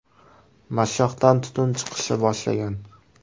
Mashshoqdan tutun chiqishni boshlagan.